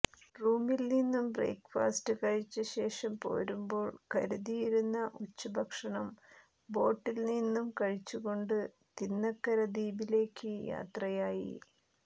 റൂമിൽ നിന്നും ബ്രേക്ഫാസറ്റ് കഴിച്ച ശേഷം പോരുമ്പോൾ കരുതിയിരുന്ന ഉച്ചഭക്ഷണം ബോട്ടിൽ നിന്നും കഴിച്ചുകൊണ്ട് തിന്നക്കര ദ്വീപിലേക്ക് യാത്രയായി